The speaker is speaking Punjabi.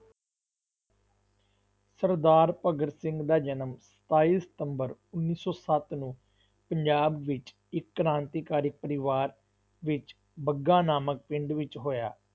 ਸਰਦਾਰ ਭਗਤ ਸਿੰਘ ਦਾ ਜਨਮ ਸਤਾਈ ਸਤੰਬਰ ਉੱਨੀ ਸੌ ਸੱਤ ਨੂੰ ਪੰਜਾਬ ਵਿੱਚ ਇਕ ਕ੍ਰਾਂਤੀਕਾਰੀ ਪਰਿਵਾਰ ਵਿੱਚ ਬੰਗਾ ਨਾਮਕ ਪਿੰਡ ਵਿੱਚ ਹੋਇਆ।